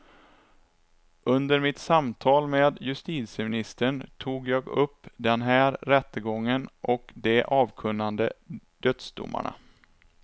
Under mitt samtal med justitieministern tog jag upp den här rättegången och de avkunnade dödsdomarna.